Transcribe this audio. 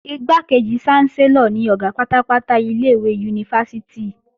Igbákejì ṣánsẹ́lọ̀ ni Ọ̀gá pátápátá ilé-ìwé yunifásítì